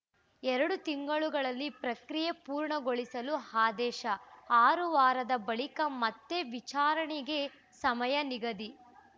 ಎರಡು ತಿಂಗಳುಗಳಲ್ಲಿ ಪ್ರಕ್ರಿಯೆ ಪೂರ್ಣಗೊಳಿಸಲು ಆದೇಶ ಆರು ವಾರದ ಬಳಿಕ ಮತ್ತೆ ವಿಚಾರಣೆಗೆ ಸಮಯ ನಿಗದಿ